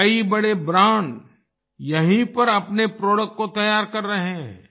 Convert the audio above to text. कई बड़े ब्रांड यहीं पर अपने प्रोडक्ट को तैयार कर रहे हैं